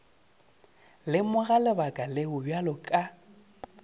lemoga lebaka leo bjale ka